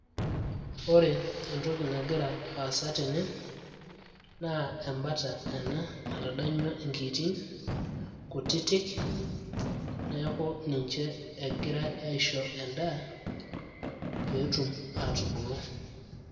ore entoki nagira aasa tene naa embata ena natadanyua inkiitin kutitik neeku ninche egiray aisho endaa peetum aatubulu.